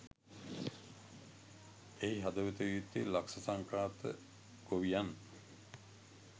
එහි හදවත විය යුත්තේ ලක්‍ෂ සංඛ්‍යාත ගොවියන්